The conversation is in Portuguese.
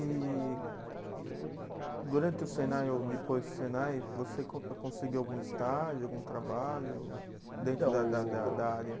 E durante o Senai ou depois do Senai, você con eh conseguiu algum estágio, algum trabalho dentro da da da da área?